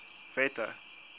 wette